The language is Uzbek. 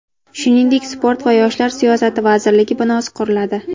Shuningdek, sport va yoshlar siyosati vazirligi binosi quriladi.